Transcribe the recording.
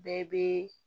Bɛɛ bɛ